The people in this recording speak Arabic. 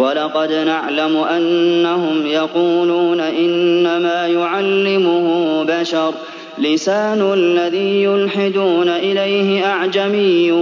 وَلَقَدْ نَعْلَمُ أَنَّهُمْ يَقُولُونَ إِنَّمَا يُعَلِّمُهُ بَشَرٌ ۗ لِّسَانُ الَّذِي يُلْحِدُونَ إِلَيْهِ أَعْجَمِيٌّ